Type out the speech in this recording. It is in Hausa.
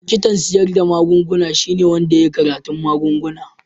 Likitan siyar da magunguna shine wanda ya yi karatun magunguna.